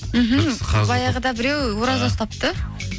мхм баяғыда біреу ораза ұстапты